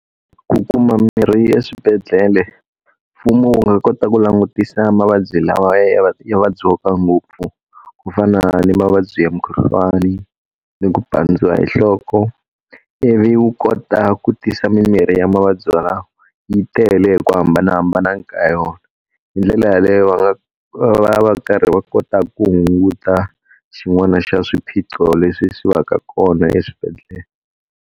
Ku kuma mirhi eswibedhlele, mfumo wu nga kota ku langutisa mavabyi lawa ya ya vabyiwaka ngopfu. Ku fana na mavabyi ya mukhuhlwani, ni ku pandza hi nhloko, ivi wu kota ku tisa mimirhi ya mavabyi walawo yi tele ku hambanahambana ka yona. Hi ndlela yaleyo va nga va ya va karhi va kota ku hunguta xin'wana xa swiphiqo leswi swi va ka kona eswibedhlele.